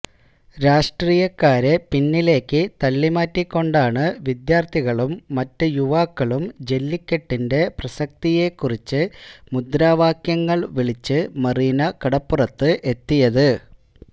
രാഷ്ട്രീയക്കാരെ പിന്നിലേക്ക് തള്ളിമാറ്റിക്കൊണ്ടാണ് വിദ്യാര്ത്ഥികളും മറ്റ് യുവാക്കളും ജെല്ലിക്കെട്ടിന്റെ പ്രസക്തിയെക്കുറിച്ച് മുദ്രാവാക്യങ്ങള് വിളിച്ച് മറീനക്കടപ്പുറത്ത് എത്തിയത്